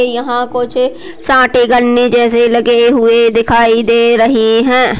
ये यहाँ कुछ साठे गन्ने जैसे लगे हुए दिखाई दे रहैं है।